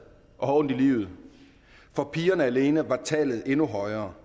og har ondt i livet for pigerne alene er tallet endnu højere